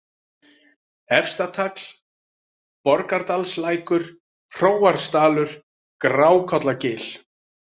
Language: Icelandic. Efstatagl, Borgardalslækur, Hróarsdalur, Grákollagil